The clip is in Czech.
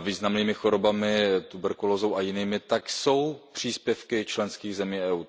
významnými chorobami, tuberkulózou a jinými, jsou příspěvky členských zemí EU.